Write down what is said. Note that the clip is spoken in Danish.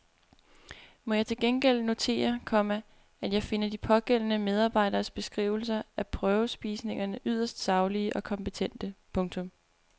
Må jeg til gengæld notere, komma at jeg finder de pågældende medarbejderes beskrivelser af prøvespisningerne yderst saglige og kompetente. punktum